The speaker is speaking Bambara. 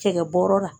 Cɛkɛ bɔrɔ la